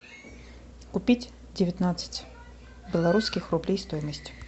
купить девятнадцать белорусских рублей стоимость